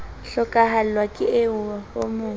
hlokahallwa ke eo o mo